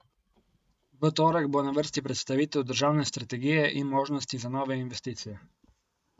V torek bo na vrsti predstavitev državne strategije in možnosti za nove investicije.